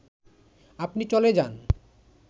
আপনি চলে যান